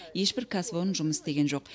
ешбір кәсіпорын жұмыс істеген жоқ